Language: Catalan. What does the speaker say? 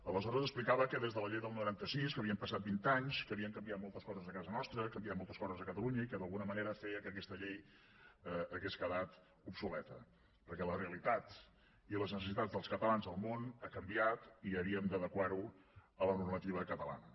aleshores explicava que des de la llei del noranta sis que havien passat vint anys havien canviat moltes coses a casa nostra han canviat moltes coses a catalunya i que d’alguna manera feia que aquesta llei hagués quedat obsoleta perquè la realitat i les necessitats dels catalans al món han canviat i havíem d’adequar ho a la normativa catalana